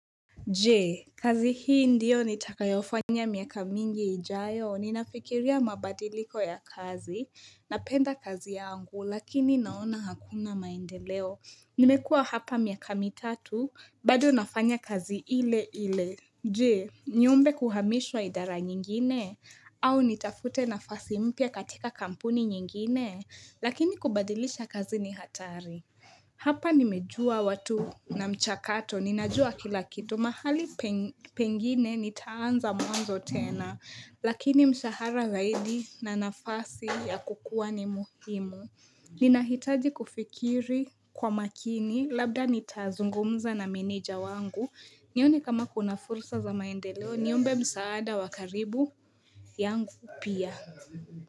Je kazi hii ndiyo nitakayofanya miaka mingi ijayo ninafikiria mabadiliko ya kazi napenda kazi yangu lakini naona hakuna maendeleo. Nimekuwa hapa miaka mitatu bado nafanya kazi ile ile Je, niombe kuhamishwa idara nyingine au nitafute nafasi mpya katika kampuni nyingine lakini kubadilisha kazi ni hatari Hapa nimejua watu na mchakato, ninajua Kila kitu, mahali pengine nitaanza mwanzo tena, lakini mshahara zaidi na nafasi ya kukua ni muhimu. Ninahitaji kufikiri kwa makini, labda nitazungumza na meneja wangu, nione kama kuna fursa za maendeleo, niombe msaada wa karibu yangu pia.